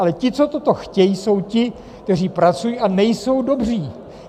Ale ti, co toto chtějí, jsou ti, kteří pracují a nejsou dobří.